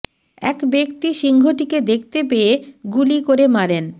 এক ব্যক্তি সিংহটিকে দেখতে পেয়ে গুলি করে মারেন